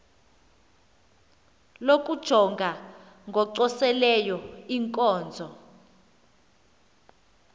lokujonga ngocoselelo iinkonzo